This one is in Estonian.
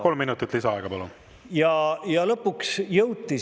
Kolm minutit lisaaega, palun!